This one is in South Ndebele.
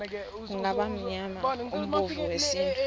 kungaba mnyanya womvumo wesintu